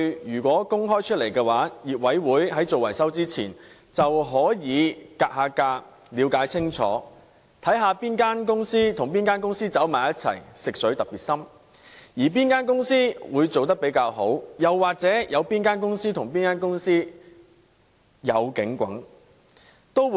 如果可以公開這些數據，業委會在進行維修前便能"格價"，了解清楚，看看哪間公司與哪間公司聯合一起或"食水"特別深，或哪間公司做得特別好，又或哪間公司與哪間公司有可疑的關係。